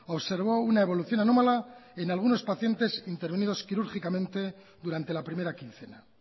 observó una evolución anómala en algunos pacientes intervenidos quirúrgicamente durante la primera quincena